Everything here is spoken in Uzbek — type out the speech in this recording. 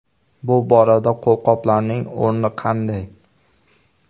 Bu borada qo‘lqoplarning o‘rni qanday?